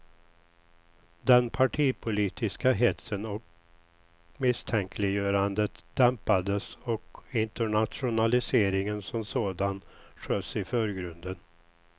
Den partipolitiska hetsen och misstänkliggörandet dämpades och internationaliseringen som sådan sköts i förgrunden.